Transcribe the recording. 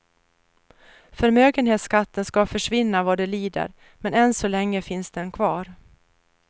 Förmögenhetsskatten ska försvinna vad det lider, men än så länge finns den kvar.